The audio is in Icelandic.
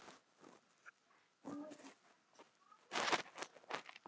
Rétt skyldi vera rétt.